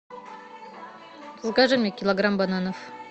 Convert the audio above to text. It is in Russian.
закажи мне килограмм бананов